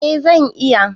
Eh zan iya.